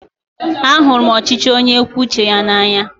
Ahụrụ m ọchịchị onye kwue uche ya n'anya.